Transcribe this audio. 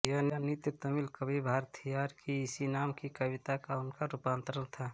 यह नृत्य तमिल कवि भारथियार की इसी नाम की कविता का उनका रूपांतरण था